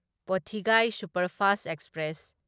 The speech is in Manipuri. Podhigai superfast express